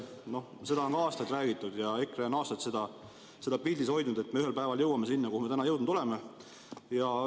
On aastaid räägitud ja EKRE on aastaid pildil hoidnud seda, et me ühel päeval jõuame sinna, kuhu me täna jõudnud oleme.